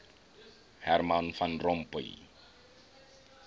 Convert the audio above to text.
herman van rompuy